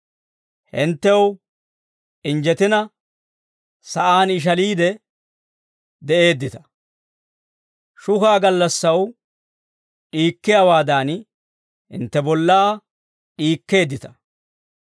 Hinttew injjetina, sa'aan ishaliide de'eeddita; shukaa gallassaw d'iikkiyaawaadan, hintte bollaa d'iikkeeddita.